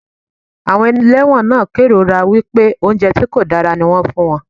Àwọn ẹlẹ́wọ̀n náà kérora wípé oúnjẹ tí kò dára ní wón ń fún wọn.